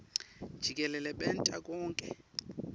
jikelele benta konkhe